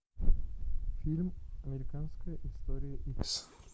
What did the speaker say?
фильм американская история икс